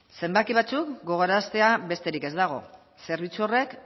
zenbaki batzuk gogoraraztea besterik ez dago zerbitzu horrek